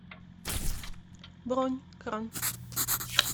бронь кран